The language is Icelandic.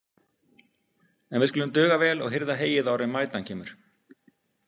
En við skulum duga vel og hirða heyið áður en vætan kemur.